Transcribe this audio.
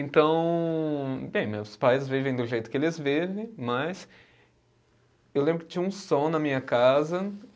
Então, bem, meus pais vivem do jeito que eles vivem, mas eu lembro que tinha um som na minha casa